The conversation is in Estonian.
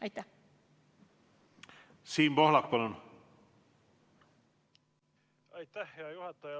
Aitäh, hea juhataja!